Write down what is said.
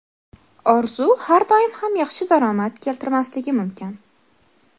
Orzu har doim ham yaxshi daromad keltirmasligi mumkin.